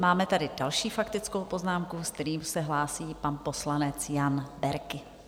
Máme tady další faktickou poznámku, se kterou se hlásí pan poslanec Jan Berki.